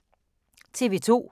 TV 2